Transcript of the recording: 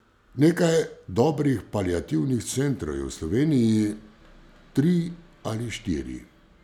Nekaj dobrih paliativnih centrov je v Sloveniji tri ali štiri.